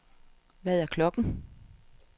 Hvad er klokken